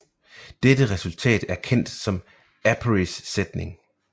Dette resultat er kendt som Apérys sætning